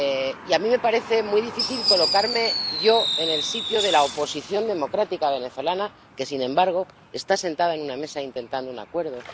Y a mí me parece muy difícil colocarme en el lugar de la oposición democrática venezolana, que, sin embargo, está sentada en una mesa intentando un acuerdo.